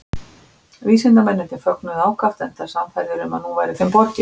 Vísindamennirnir fögnuðu ákaft enda sannfærðir um að nú væri þeim borgið.